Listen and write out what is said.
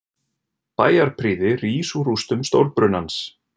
Bæjarprýði rís úr rústum stórbrunans